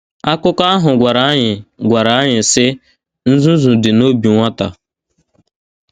Akụkọ ahụ gwara anyị gwara anyị, sị: “ Nzuzu dị n'obi nwata. ”